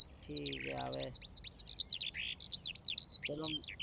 ઠીક है હવે ચલો.